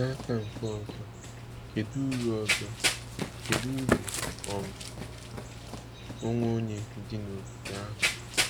N’aka nke ọzọ, kedu uru ọzọ, kedu uru um onwe onye dị n’ogige ahụ!